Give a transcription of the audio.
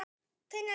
Tinna Líf.